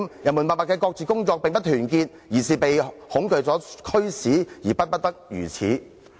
人民默默的各自工作，並不是團結，而是被恐懼所驅使而不得不如此。